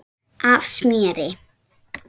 af smjöri.